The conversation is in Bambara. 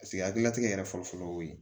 Paseke hakililatigɛ yɛrɛ fɔlɔ fɔlɔ y'o ye